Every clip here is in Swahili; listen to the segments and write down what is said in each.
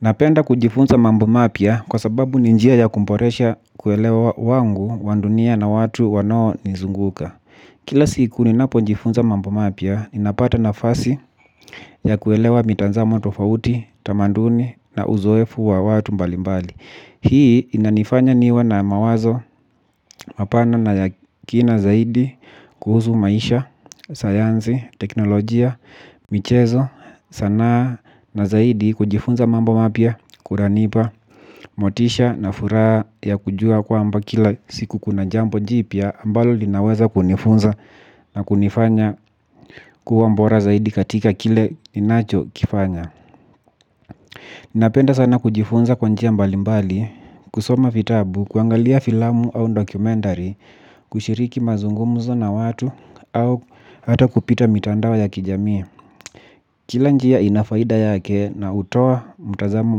Napenda kujifunza mambo mapia kwa sababu ninjia ya kumboresha kuelewa wangu, wandunia na watu wanao nizunguka. Kila siku ni napo njifunza mambo mapia, ninapata na fasi ya kuelewa mitanzamo atofauti, tamanduni na uzoefu wa watu mbali mbali. Hii inanifanya niwe na mawazo mapana na yakina zaidi kuhusu maisha, sayanzi, teknolojia, michezo sanaa na zaidi kujifunza mambo mapia, kunanipa, motisha na furaha ya kujua kwa mba kila siku kuna jambo jipia ambalo linaweza kunifunza na kunifanya kuwa mbora zaidi katika kile ninacho kifanya. Ninapenda sana kujifunza kwanjia mbalimbali, kusoma vitabu, kuangalia filamu au dokumentari, kushiriki mazungumuzo na watu au hata kupita mitandao ya kijamii. Kila njia inafaida yake na utoa mutazamo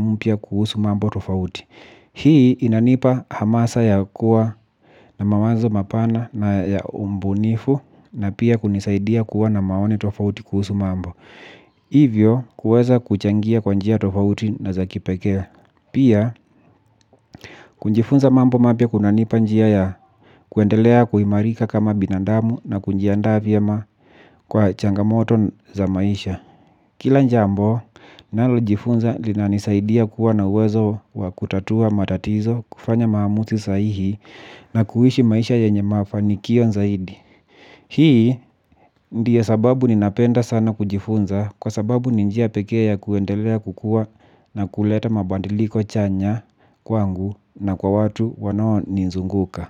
mpia kuhusu mambo tofauti. Hii inanipa hamasa ya kuwa na mawanzo mapana na ya umbunifu na pia kunisaidia kuwa na maoni tofauti kuhusu mambo. Hivyo kuweza kuchangia kwanjia tofauti na za kipekee. Pia kunjifunza mambo mapia kunanipa njia ya kuendelea kuhimarika kama binandamu na kunjiandaa vyena kwa changamoto za maisha. Kila njambo nalo jifunza linanisaidia kuwa na uwezo wa kutatua matatizo kufanya mahamuzi saihi na kuhishi maisha yenye mafanikio nzaidi. Hii ndio sababu ninapenda sana kujifunza kwa sababu ninjia pekee ya kuendelea kukua na kuleta mabandiliko chanya kwangu na kwa watu wanao nizunguka.